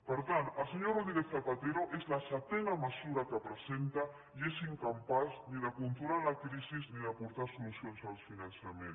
per tant el senyor rodríguez zapatero és la setena mesura que presenta i és incapaç ni de controlar la crisi ni d’aportar solucions al finançament